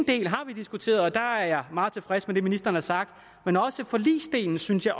del har vi diskuteret og der er meget tilfreds med det ministeren har sagt men også forligsdelen synes jeg